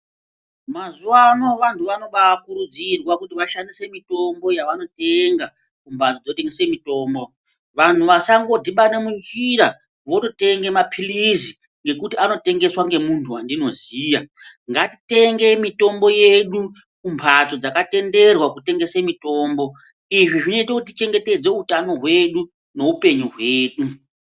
Mazuwa ano vantu vanobaa kuridzirwa kuti vashandise mitombo yavanotenga kumhatso dzinotengesa mitombo. Vanhu vasangodhibane munjira, vototenge mapirizi ngekuti anotengeswa ngemuntu wandinoziya. Ngatitenge mitombo yedu kumbatso dzakatenderwa kutengese mitombo. Izvi zvinoite kuti tichengetedze utano hedu neupenyu hwedu.